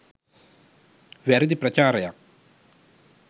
වැරදි ප්‍රචාරයක්